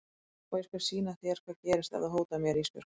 Og ég skal sýna þér hvað gerist ef þú hótar mér Ísbjörg.